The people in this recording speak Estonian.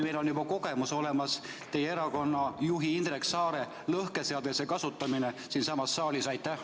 Meil on juba teatud kogemus olemas, kui teie erakonna juht Indrek Saar siinsamas saalis lõhkeseadeldist kasutas.